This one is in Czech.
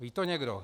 Ví to někdo?